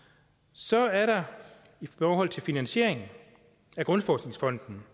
så er der i forhold til finansieringen af grundforskningsfonden